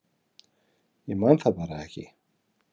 Ég man það bara ekki